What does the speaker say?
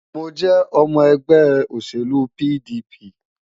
Mo jẹ́ ọmọ ẹgbẹ́ òṣèlú PDP.